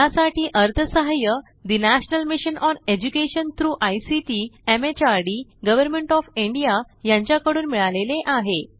यासाठी अर्थसहाय्य national mission on education through ICT MHRD government of India यांच्याकडून मिळालेले आहे